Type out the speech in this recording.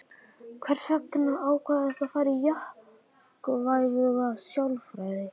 Hvers vegna ákvaðstu að fara í jákvæða sálfræði?